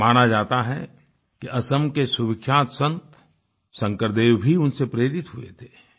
माना जाता है कि असम के सुविख्यात सन्त शंकरदेव भी उनसे प्रेरित हुए थे